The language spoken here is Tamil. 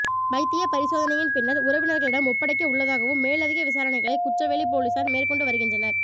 வைத்திய பரிசோதனையின் பின்னர் உறவினர்களிடம் ஒப்படைக்க உள்ளதாகவும் மேலதிக விசாரணைகளை குச்சவெளி பொலிஸார் மேற்கொண்டு வருகின்றனர்